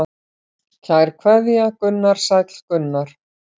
Kær kveðja Gunnar Sæll Gunnar.